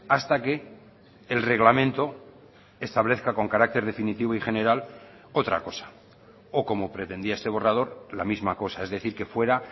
hasta que el reglamento establezca con carácter definitivo y general otra cosa o como pretendía este borrador la misma cosa es decir que fuera